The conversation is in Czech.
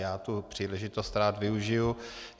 Já tu příležitost rád využiji.